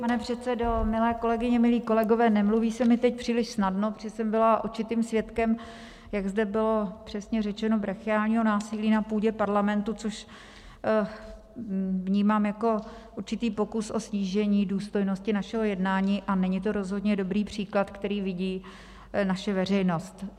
Pane předsedo, milé kolegyně, milí kolegové, nemluví se mi teď příliš snadno, protože jsem byla očitým svědkem, jak zde bylo, přesně řečeno, brachiálního násilí na půdě Parlamentu, což vnímám jako určitý pokus o snížení důstojnosti našeho jednání, a není to rozhodně dobrý příklad, který vidí naše veřejnost.